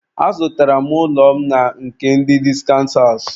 Azụtara m ụlọ m na nke ndị discount house.